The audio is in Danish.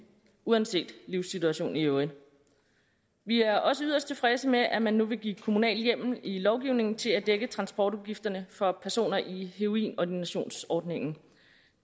uanset livssituation i øvrigt vi er også yderst tilfredse med at man nu vil give kommunal hjemmel i lovgivningen til at dække transportudgifterne for personer i heroinordinationsordningen